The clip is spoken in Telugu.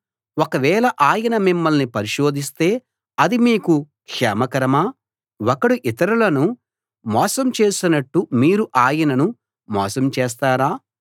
ఒకవేళ ఆయన మిమ్మల్ని పరిశోధిస్తే అది మీకు క్షేమకరమా ఒకడు ఇతరులను మోసం చేసినట్టు మీరు ఆయనను మోసం చేస్తారా